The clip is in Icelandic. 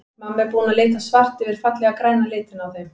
Mamma er búin að lita svart yfir fallega græna litinn á þeim.